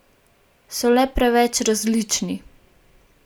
So le preveč različni.